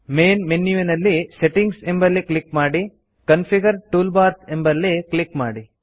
ಮೇನ್ಮೆನ್ಯುವಿನಲ್ಲಿ settings ಎಂಬಲ್ಲಿ click ಮಾಡಿ configure toolbars ಎಂಬಲ್ಲಿ ಕ್ಲಿಕ್ ಮಾಡಿ